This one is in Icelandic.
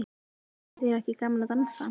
Þykir þér ekki gaman að dansa?